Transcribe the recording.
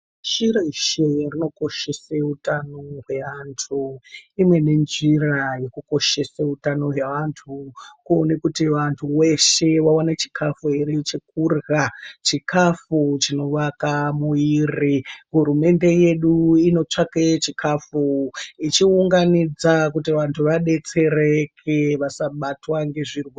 Pashi reshe rinokoshese utano hweantu imweni njira yekukoshese utano hweantu kuone kuti vantu veshe vawane chikafu ere chekurya , chikafu chinowaka muviri. Hurumende yedu inotsvake chikafu ichiunganidza kuti vantu vadetsereke vasabatwe ngezvirwere.